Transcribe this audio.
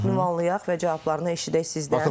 Ünvanlayaq və cavablarını eşidək sizdən.